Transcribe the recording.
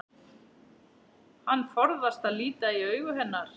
Hann forðast að líta í augu hennar.